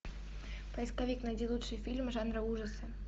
поисковик найди лучшие фильмы жанра ужасы